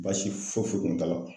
Baasi foyi foyi kun t'a la